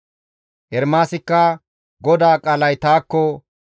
Ermaasikka GODAA qaalay taakko,